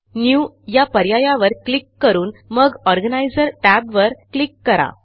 Newया पर्यायावर क्लिक करून मग Organiserटॅबवर क्लिक करा